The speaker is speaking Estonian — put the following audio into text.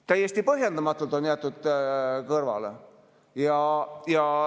Täiesti põhjendamatult on nad jäetud kõrvale.